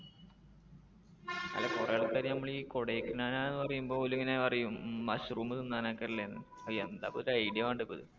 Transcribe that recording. അല്ല കുറെ ആൾക്കാര് നമ്മൾ ഈ കൊടൈക്കനാൽ ആണെന്ന് പറയുമ്പോ ഇങ്ങനെ പറയും mushroom തിന്നാൻ ഒക്കെ അല്ലെ എന്ന്. അഹ് ആ എന്താ ഇപ്പൊ ഒരു idea വേണ്ടേ ഇപ്പൊ ഇത്